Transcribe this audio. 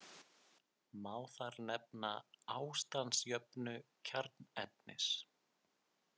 Má þar nefna ástandsjöfnu kjarnefnis.